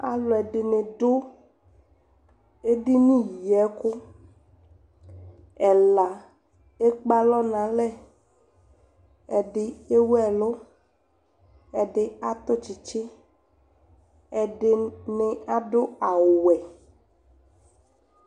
Alʋɛdɩnɩ dʋ ediniyiɛkʋ Ɛla ekpe alɔ nʋ alɛ Ɛdɩ ewu ɛlʋ, ɛdɩ atʋ tsɩtsɩ, ɛdɩnɩ adʋ awʋwɛ